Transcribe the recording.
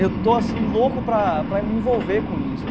Eu estou assim louco para para me envolver com isso.